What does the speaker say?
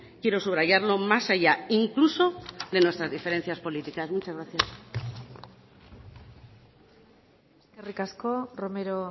quiero subrayarlo más allá incluso de nuestras diferencias políticas muchas gracias eskerrik asko romero